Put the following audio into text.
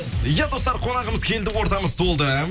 иә достар қонағымыз келді ортамыз толды